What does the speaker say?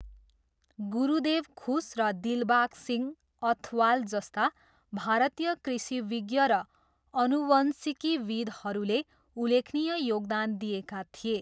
गुरदेव खुस र दिलबाग सिंह अथवाल जस्ता भारतीय कृषिविज्ञ र आनुवंशिकीविद्हरूले उल्लेखनीय योगदान दिएका थिए।